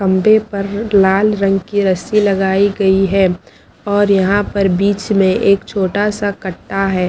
खंभे पर लाल रंग की रस्सी लगाई गई है और यहां पर बीच में एक छोटा सा कट्टा है।